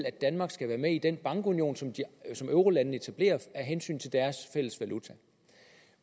at danmark skal være med i den bankunion som eurolandene etablerer af hensyn til deres fælles valuta